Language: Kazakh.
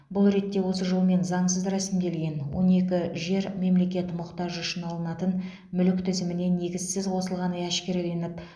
бұл ретте осы жолмен заңсыз рәсімделген он екі жер мемлекет мұқтажы үшін алынатын мүлік тізіміне негізсіз қосылғаны әшкереленіп